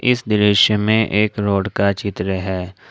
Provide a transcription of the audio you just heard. इस दृश्य में एक रोड का चित्र है।